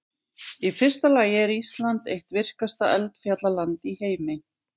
Í fyrsta lagi er Ísland eitt virkasta eldfjallaland í heimi.